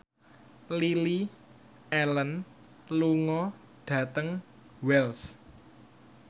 Lily Allen lunga dhateng Wells